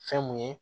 Fɛn mun ye